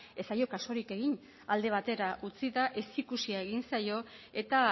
ez zaio kasurik egin alde batera utzita ezikusia egin zaio eta